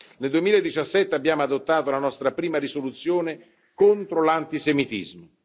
Nel 2017 abbiamo adottato la nostra prima risoluzione contro l'antisemitismo.